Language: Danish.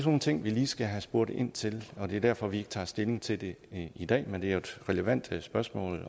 nogle ting vi lige skal have spurgt ind til og det er derfor vi ikke tager stilling til det i dag men det er et relevant spørgsmål